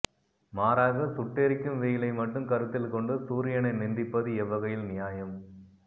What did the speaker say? மாறாக சுட்டெரிக்கும் வெயிலை மட்டும் கருத்தில் கொண்டு சூரியனை நிந்திப்பது எவ்வகையில் நியாயம்